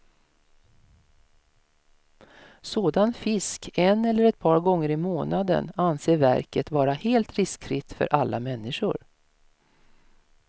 Sådan fisk en eller ett par gånger i månaden anser verket vara helt riskfritt för alla människor.